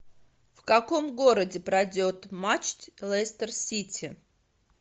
в каком городе пройдет матч лестер сити